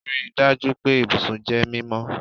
Rii daju pe ibusun jẹ mimọ